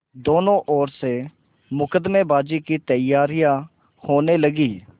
दोनों ओर से मुकदमेबाजी की तैयारियॉँ होने लगीं